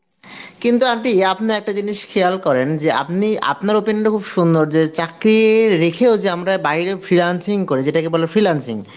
কিন্তু aunty আপনে একটা জিনিস খেয়াল করেন যে আপনি, আপনার opinion টা খুব সুন্দর যে চাকরি রেখেও যে আমরা বাইরেও freelancing করে যেটাকে বলে freelancing